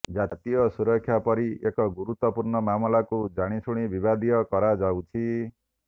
ଜାତୀୟ ସୁରକ୍ଷା ପରି ଏକ ଗୁରୁତ୍ୱପୂର୍ଣ୍ଣ ମାମଲାକୁ ଜାଣିଶୁଣି ବିବାଦୀୟ କରାଯାଉଛି